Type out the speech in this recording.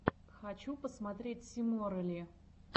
хочу посмотреть симорелли